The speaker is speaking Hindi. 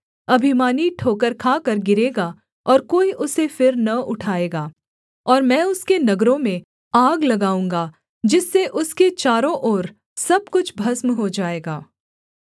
अभिमानी ठोकर खाकर गिरेगा और कोई उसे फिर न उठाएगा और मैं उसके नगरों में आग लगाऊँगा जिससे उसके चारों ओर सब कुछ भस्म हो जाएगा